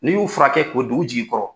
N' y'u furakɛ ko do u jigi kɔrɔ.